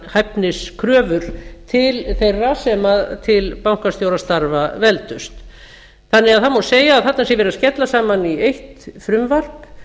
hæfniskröfur til þeirra sem til bankastjórastarfa veldust þannig að það má segja að þarna sé verið að skella saman í eitt frumvarp